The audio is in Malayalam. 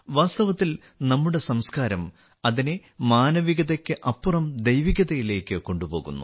വാസ്തവത്തിൽ നമ്മുടെ സംസ്കാരം അതിനെ മാനവികതയ്ക്ക് അപ്പുറം ദൈവികതയിലേക്ക് കൊണ്ടുപോകുന്നു